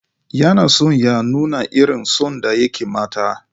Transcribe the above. Yana son ya nuna irin son da yake mata.